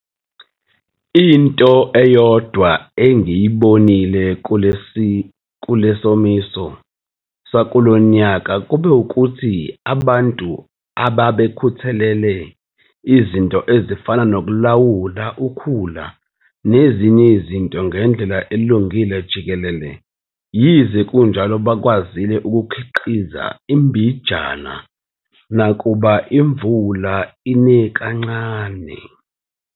Into eyodwa engiyibonile kule somiso sakulo nyaka kube ukuthi ababntu ababekhuthalele izinto ezifana nokulawula ukhula nezinye izinto ngendlela elungile jikelele yize kunjalo bakwazile ukukhiqiza imbijana yesilimo nakuba imvula ine kancane.